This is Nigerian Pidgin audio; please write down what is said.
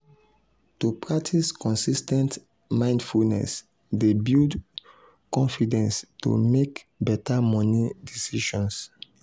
to practice consis ten t mindfulness dey build confidence to mek better moni decisions.